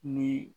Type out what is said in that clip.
Ni